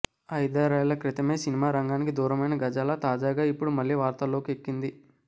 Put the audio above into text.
ఐదారేళ్ల క్రితమే సినిమా రంగానికి దూరమైన గజాల తాజాగా ఇపుడు మళ్లీ వార్తల్లోకి ఎక్కింది